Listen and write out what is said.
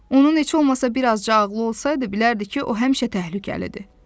Onun heç olmasa bir azca ağıllı olsaydı, bilərdi ki, o həmişə təhlükəlidir.